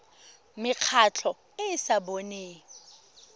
mekgatlho e e sa boneng